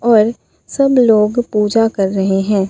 और सब लोग पूजा कर रहे हैं।